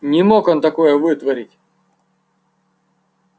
не мог он такое вытворить